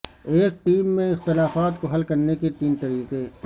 ایک ٹیم میں اختلافات کو حل کرنے کے تین طریقے